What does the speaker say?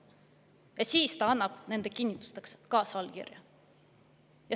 " Ja siis ta annab nende kinnituseks kaasallkirja.